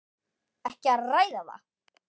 Ekki að ræða það!